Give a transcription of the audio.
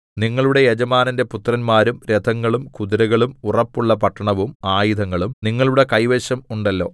നിങ്ങളുടെ യജമാനന്റെ പുത്രന്മാരും രഥങ്ങളും കുതിരകളും ഉറപ്പുള്ള പട്ടണവും ആയുധങ്ങളും നിങ്ങളുടെ കൈവശം ഉണ്ടല്ലോ